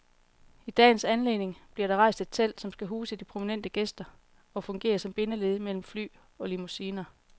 I dagens anledning bliver der rejst et telt, som skal huse de prominente gæster og fungere som bindeled mellem fly og limousiner.